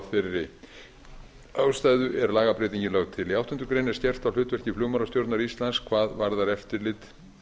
þeirri ástæðu er lagabreytingin lögð til í áttundu grein er skerpt á hlutverki flugmálastjórnar íslands hvað varðar eftirlit